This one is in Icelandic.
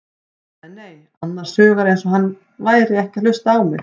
Hann sagði nei, annars hugar eins og hann væri ekki að hlusta á mig.